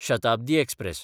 Shatabdi express